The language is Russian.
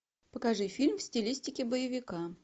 покажи фильм в стилистике боевика